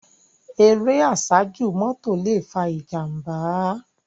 Éré àsájú mòtó lé fá ijàmbá